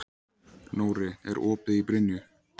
Nóri, er opið í Brynju?